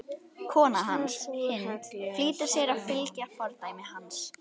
Kona hans, Hind, flýtir sér að fylgja fordæmi hans.